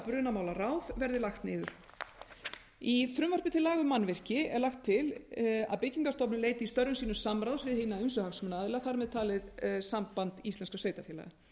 brunamálaráð verði lagt niður í frumvarpi til laga um mannvirki er lagt til að byggingarstofnun leiti í störfum sínum samráðs við hina ýmsu hagsmunaaðila þar með talið samband íslenskra sveitarfélaga